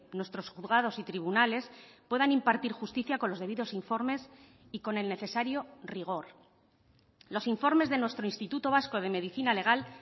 nuestros juzgados y tribunales puedan impartir justicia con los debidos informes y con el necesario rigor los informes de nuestro instituto vasco de medicina legal